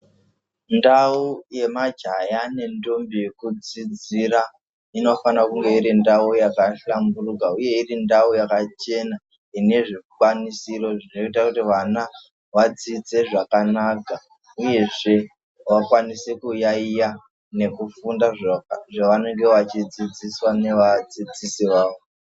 Ndau yemajaya nedhombi yekudzidzira inofanira kunge iri ndau yakahlamburuka uye iri ndau yakachena inezvikanisiro zvoita kuti vana vadzidze zvakanaka uyezve vakwanise kuyayiya nekufunda zvavanenge vachidziidziswa ne vadzidzisi vavo.